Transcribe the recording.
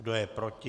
Kdo je proti?